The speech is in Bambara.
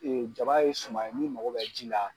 jaba ye suman ye min mago bɛ ji la.